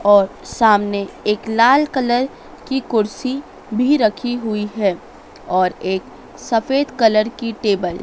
और सामने एक लाल कलर की कुर्सी भी रखी हुई है और एक सफेद कलर की टेबल ।